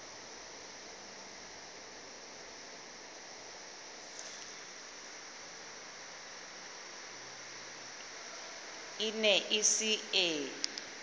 e ne e se e